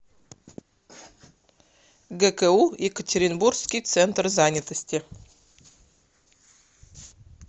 гку екатеринбургский центр занятости